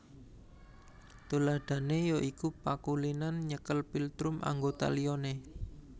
Tuladhané ya iku pakulinan nyekel philtrum anggota liyane